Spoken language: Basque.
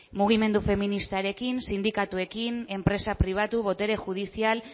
mugimendu feministarekin sindikatuekin enpresa pribatu botere judizial